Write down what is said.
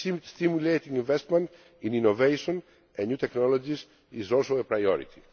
Stimulating investment in innovation and new technologies is also a priority.